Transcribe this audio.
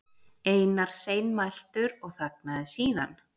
Einar seinmæltur og þagnaði síðan.